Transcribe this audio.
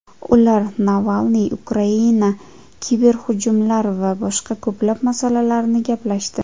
Ular Navalniy, Ukraina, kiberhujumlar va boshqa ko‘plab masalalarni gaplashdi.